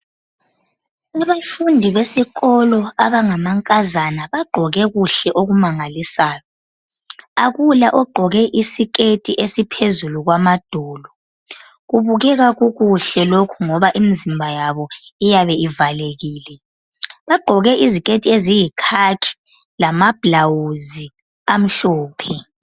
Abafundi besikolo abangamankazana bagqoke kuhle okumangalisayo, akula ogqoke isiketi esiphezulu kwamadolo. Kubukeka kukuhle lokhu ngoba imizimba yabo iyabe ivalekile. Bagqoke iziketi eziyikhakhi lamablawuzi amhlophe.